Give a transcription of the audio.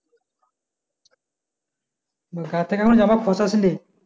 গা থেকে এখন জামা খসাস নি